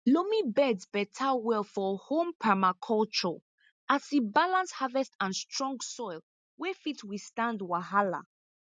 loamy beds beta well for home permaculture as e balance harvest and strong soil wey fit withstand wahala